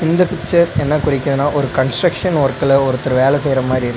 இந்த பிக்சர் என்ன குறிக்குதுனா ஒரு கன்ஸ்ட்ரக்ஷன் வொர்க்ல ஒருத்தர் வேல செய்யற மாரி இரு.